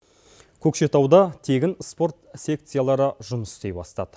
көкшетауда тегін спорт секциялары жұмыс істей бастады